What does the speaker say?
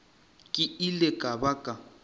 ke ile ka ba ka